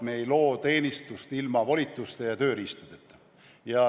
Me ei loo teenistust ilma volituste ja tööriistadeta.